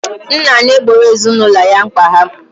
Nna na-egboro ezinụlọ ya mkpa ha.